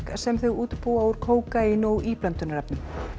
sem þau útbúa úr kókaíni og íblöndunarefnum